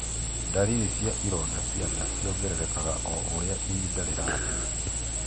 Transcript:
Ndariri cia ironda cia nda ciongererekaga o urĩa ihinda rĩrathiĩ.